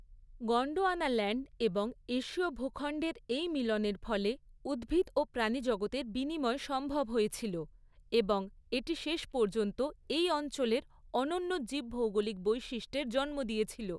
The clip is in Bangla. গন্ডোয়ানাল্যান্ড এবং এশীয় ভূখণ্ডের এই মিলনের ফলে উদ্ভিদ ও প্রাণীজগতের বিনিময় সম্ভব হয়েছিল এবং এটি শেষ পর্যন্ত এই অঞ্চলের অনন্য জীবভৌগোলিক বৈশিষ্ট্যের জন্ম দিয়েছিল।